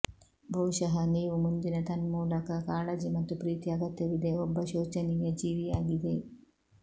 ಬಹುಶಃ ನೀವು ಮುಂದಿನ ತನ್ಮೂಲಕ ಕಾಳಜಿ ಮತ್ತು ಪ್ರೀತಿ ಅಗತ್ಯವಿದೆ ಒಬ್ಬ ಶೋಚನೀಯ ಜೀವಿಯಾಗಿದೆ